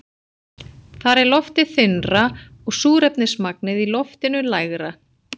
Þar er loftið þynnra og súrefnismagnið í loftinu lægra.